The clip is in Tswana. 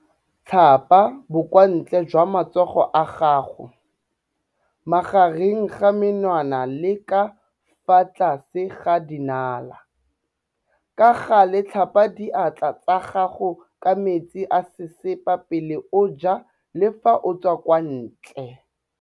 Tlhapa bokwantle jwa matsogo a gago, magareng ga menwana le ka fa tlase ga dinala. Ka gale tlhapa diatla tsa gago ka metsi a sesepa pele o ja le fa o tswa kwa ntle.